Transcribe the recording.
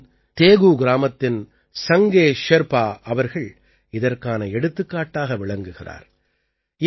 சிக்கிமின் தேகூ கிராமத்தின் சங்கே ஷெர்பா அவர்கள் இதற்கான எடுத்துக்காட்டாக விளங்குகிறார்